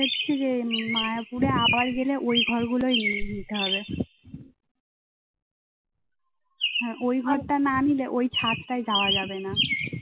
ওই ঘরটা না নিলে ওই ছাদটায় যাওয়া যাবেনা